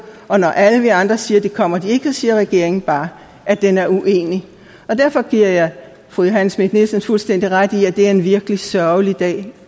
og når alle vi andre siger at det kommer de ikke så siger regeringen bare at den er uenig derfor giver jeg fru johanne schmidt nielsen fuldstændig ret i at det er en virkelig sørgelig dag